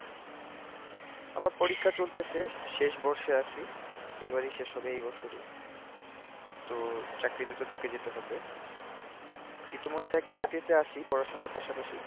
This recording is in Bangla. আমার পরীক্ষা চলতেছে, শেষ বর্ষে আছি, এবারই শেষ হবে এই বছরই, তো চাকরি তে তো ঢুকে যেতে হবে, ইতিমধ্যে একটা চাকরিতে আছি, পড়াশোনার পাশাপাশি।